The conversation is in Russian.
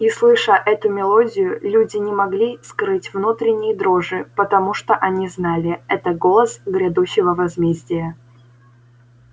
и слыша эту мелодию люди не могли скрыть внутренней дрожи потому что они знали это голос грядущего возмездия